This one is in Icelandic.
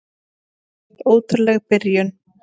Hreint ótrúleg byrjun.